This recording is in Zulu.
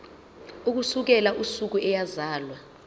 ukusukela usuku eyazalwa